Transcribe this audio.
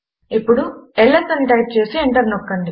ఇప్పుడు ల్స్ అని టైప్ చేసి ఎంటర్ నొక్కండి